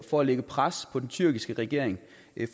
for at lægge pres på den tyrkiske regering